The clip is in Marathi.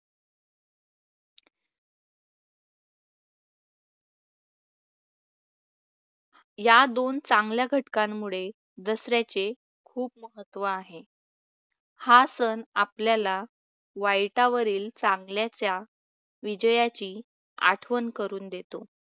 या दोन चांगल्या घटकांमुळे दसऱ्याचे खूप महत्त्व आहे. हा सण आपल्याला वाईटावरील चांगल्याच्या विजयाची आठवण करून देतो.